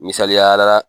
Misaliya la